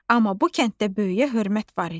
Amma bu kənddə böyüyə hörmət var idi.